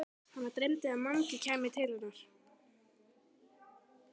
Hana dreymdi að Mangi kæmi til hennar.